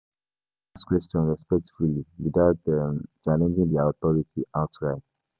[hiss] You fit ask questions respectfully without challenging their authority outright.